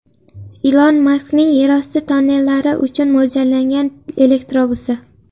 Ilon Maskning yerosti tonnellari uchun mo‘ljallangan elektrobusi.